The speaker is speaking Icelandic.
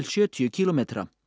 sjötíu kílómetra